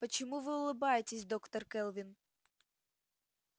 почему вы улыбаетесь доктор кэлвин